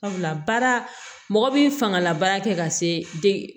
Sabula baara mɔgɔ bi fangala baara kɛ ka se dege